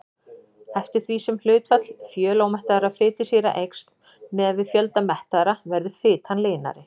Eftir því sem hlutfall fjölómettaðra fitusýra eykst miðað við fjölda mettaðra verður fitan linari.